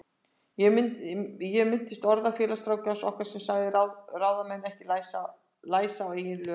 Ég minnist orða félagsráðgjafans okkar sem sagði ráðamenn ekki læsa á eigin lög.